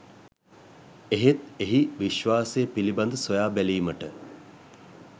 එහෙත් එහි විශ්වාසය පිළිබඳ සොයා බැලීමට